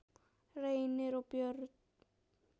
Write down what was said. Reynir og börn.